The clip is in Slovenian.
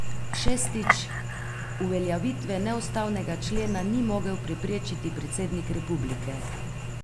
Šestič, uveljavitve neustavnega člena ni mogel preprečiti predsednik republike.